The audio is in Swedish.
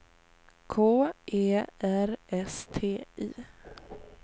K E R S T I